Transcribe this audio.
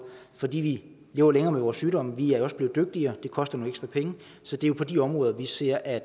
fordi vi lever længere med vores sygdomme vi er også blevet dygtigere og det koster nogle ekstra penge så det er på de områder vi ser at